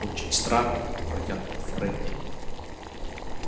очень странно протянул фредди